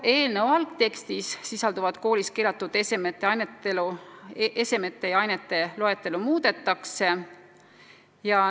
Eelnõu algtekstis sisalduvat koolis keelatud esemete ja ainete loetelu muudetakse.